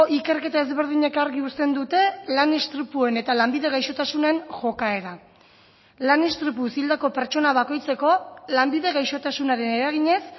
ikerketa ezberdinek argi uzten dute lan istripuen eta lanbide gaixotasunen jokaera lan istripuz hildako pertsona bakoitzeko lanbide gaixotasunaren eraginez